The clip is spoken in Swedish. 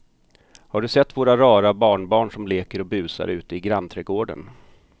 Har du sett våra rara barnbarn som leker och busar ute i grannträdgården!